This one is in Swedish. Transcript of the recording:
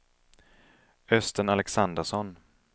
Östen Alexandersson